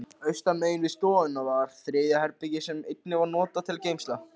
Austanmegin við stofuna var þriðja herbergið, sem einnig var notað sem geymsla.